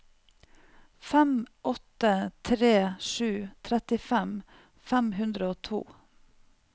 fem åtte tre sju trettifem fem hundre og to